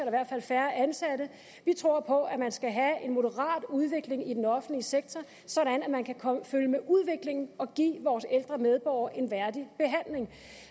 i hvert fald færre ansatte vi tror på at man skal have en moderat udvikling i den offentlige sektor sådan at man kan følge med udviklingen og give vores ældre medborgere en værdig behandling